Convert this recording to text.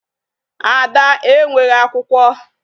Ada enweghị akwụkwọ.